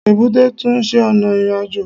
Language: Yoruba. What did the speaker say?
Èbúté tún se ọ̀nà ìrìnàjò